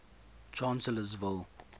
chancellorsville